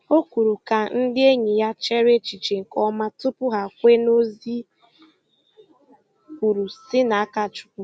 Ọ kwùrù ka ndị enyi ya chèrè echiche nke ọma tupu hà kwe na ozi e kwuru si n’aka Chukwu.